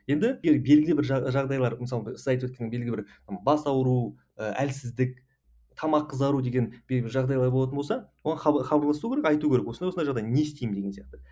енді белгілі бір жағдайлар мысалға сіз айтып өткен белгілі бір бас ауыру і әлсіздік тамақ қызару деген белгілі жағдайлар болатын болса оған хабарласу керек айту керек осындай осындай жағдай не істеймін деген сияқты